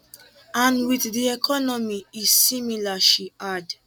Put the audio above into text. and wit di economy e similar she add